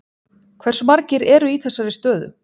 Hversu margir eru í þessari stöðu?